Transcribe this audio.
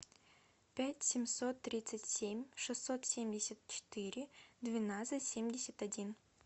пять семьсот тридцать семь шестьсот семьдесят четыре двенадцать семьдесят один